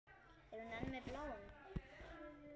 Er hún enn með Bláum?